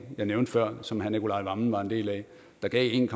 jeg nævnte før og som herre nicolai wammen var en del af der gav en